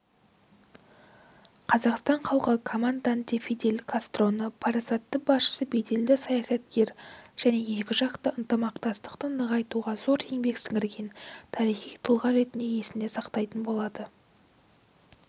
қазақстан халқы командантефидель кастроны парасатты басшы беделді саясаткер және екіжақты ынтымақтастықты нығайтуға зор еңбек сіңірген тарихи тұлға ретінде есінде сақтайтын болады